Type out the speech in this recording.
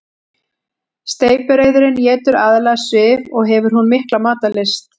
Steypireyðurin étur aðallega svif og hefur hún mikla matarlyst.